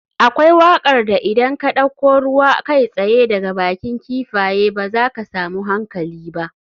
Akwai wakar da idan ka dauko ruwa kai tsaye daga bakin kifaye ba za ka samu hankali ba.